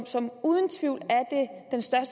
som uden tvivl